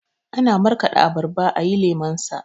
Ana markaɗa abarba ayi lemonsa